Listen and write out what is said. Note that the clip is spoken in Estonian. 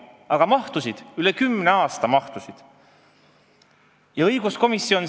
Aga mahtusid, üle kümne aasta mahtusid!